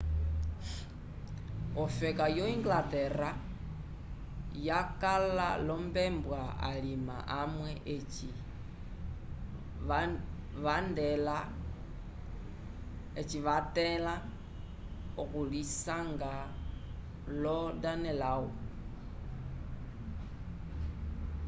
ofeka yo inglaterra yakala lombebwa alima amwe eci vathẽla okulisanga lo danelaw